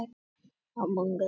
Vantar semsagt leikfimikennara?